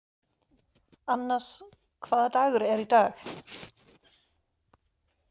Annas, hvaða dagur er í dag?